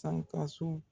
Sankaso